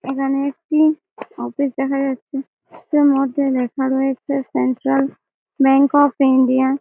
এখানে একটি অফিস দেখা যাচ্ছে এর মধ্যে লেখা রয়েছে সেন্সাল ব্যাঙ্ক অফ ইন্ডিয়া --